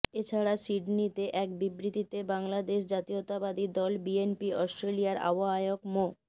এছাড়া সিডনীতে এক বিবৃতিতে বাংলাদেশ জাতীয়তাবাদী দল বিএনপি অস্ট্রেলিয়ার আহবায়ক মো